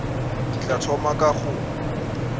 ke tla thoma ka go